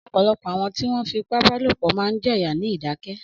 Ọ̀pọ̀lọpọ̀ àwọn tí wọ́n fipá bá lòpọ̀ máa ń jẹ yà ní ìdákẹ́.